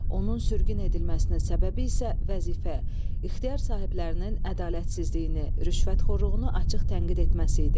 Onun sürgün edilməsinin səbəbi isə vəzifə, ixtiyar sahiblərinin ədalətsizliyini, rüşvətxorluğunu açıq tənqid etməsi idi.